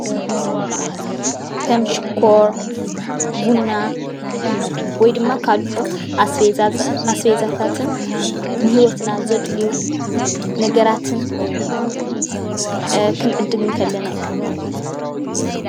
ከም ሽኮር፣ ቡና ወይ ድማ ካልኦት ኣስቤዛታትን ንሂወትና ዘድልዩ ነገራትን ክንዕድግ ከለና እዩ፡፡